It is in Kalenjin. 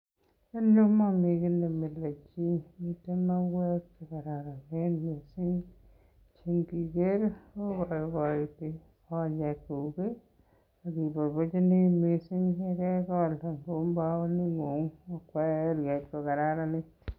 En yu komomiten kiy nemile chi. Miten mauwek che kororon en yu che kigeere koboiboiti konyekyuk ak keboiboichini mising ye kegol en mbaronikuk koyoe mbaret kokararanit.